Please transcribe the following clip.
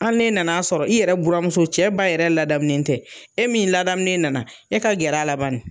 Ali n'e nan'a sɔrɔ i yɛrɛ buramuso, cɛ ba yɛrɛ ladamulen tɛ e min ladamulen nana e ka gɛrɛ a la bann